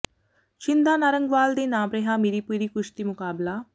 ਿਛੰਦਾ ਨਾਰੰਗਵਾਲ ਦੇ ਨਾਮ ਰਿਹਾ ਮੀਰੀ ਪੀਰੀ ਕੁਸ਼ਤੀ ਮੁਕਾਬਲਾ